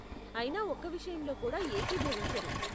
అయినా ఒక్క విషయంలో కూడా ఏకీభవించరు.